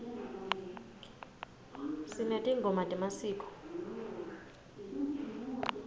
sinetingoma temasiko